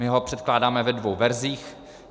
My ho předkládáme ve dvou verzích.